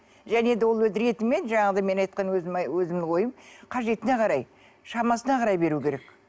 және де ол өз ретімен жаңағыдай мен айтқан өзімнің ойым қажетіне қарай шамасына қарай беру керек